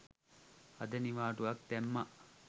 අද නිවාඩුවක් දැම්ම